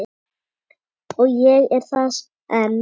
Og ég er það enn